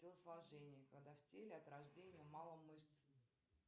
телосложение когда в теле от рождения мало мышц